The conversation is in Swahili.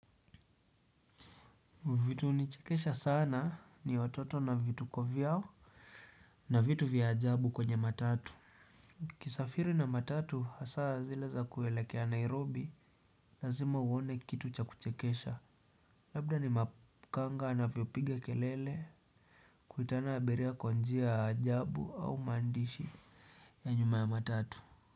Vitu hunichekesha sana ni watoto na vituko vyao na vitu vya ajabu kwenye matatu. Ukisafiri na matatu hasaa zile za kuelekea Nairobi lazima uone kitu cha kuchekesha. Labda ni makanga anavyopiga kelele kuitana abiria kwa njia ajabu au maandishi ya nyuma ya matatu.